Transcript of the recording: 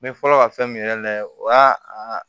N bɛ fɔlɔ ka fɛn min yɛrɛ layɛ o y'a